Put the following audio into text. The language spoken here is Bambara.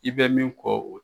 I bɛ min kɔ o